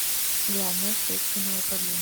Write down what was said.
главное следственное управление